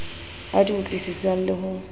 a di utlwisisang le ho